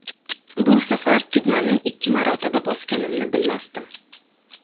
Bu safar tugmani ikki marotaba bosganimni bilmasdim.